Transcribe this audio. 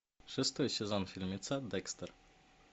шестой сезон фильмеца декстер